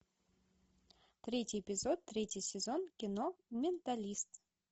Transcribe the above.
третий эпизод третий сезон кино менталист